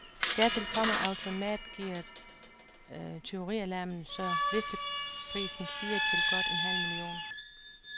Dertil kommer automatgearet og tyverialarmen, så listeprisen stiger til godt en halv million.